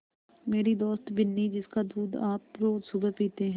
मेरी दोस्त बिन्नी जिसका दूध आप रोज़ सुबह पीते हैं